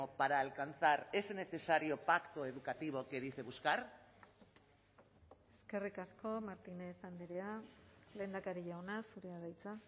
para alcanzar ese necesario pacto educativo que dice buscar eskerrik asko martínez andrea lehendakari jauna zurea da hitza